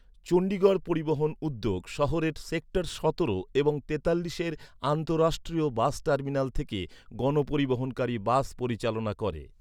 চণ্ডীগড় পরিবহণ উদ্যোগ শহরের সেক্টর সতেরো এবং তেতাল্লিশের আন্তঃরাষ্ট্রীয় বাস টার্মিনাল থেকে গণপরিবহনকারী বাস পরিচালনা করে।